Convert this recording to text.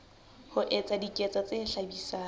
ho etsa diketso tse hlabisang